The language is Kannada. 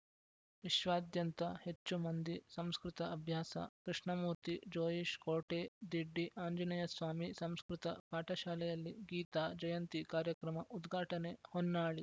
ವಿಶ್ವಾದ್ಯಂತ ಹೆಚ್ಚು ಮಂದಿ ಸಂಸ್ಕೃತ ಅಭ್ಯಾಸ ಕೃಷ್ಣಮೂರ್ತಿ ಜೋಯಿಸ್‌ ಕೋಟೆ ದಿಡ್ಡಿ ಆಂಜನೇಯ ಸ್ವಾಮಿ ಸಂಸ್ಕೃತ ಪಾಠಶಾಲೆಯಲ್ಲಿ ಗೀತಾ ಜಯಂತಿ ಕಾರ್ಯಕ್ರಮ ಉದ್ಘಾಟನೆ ಹೊನ್ನಾಳಿ